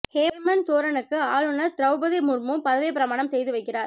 ஹேமந்த் சோரனுக்கு ஆளுநர் திரெளபதி முர்மு பதவி பிரமாணம் செய்து வைக்கிறார்